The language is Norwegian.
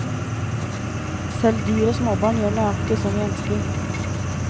Selv dyr og småbarn gjør nøyaktig som vi ønsker.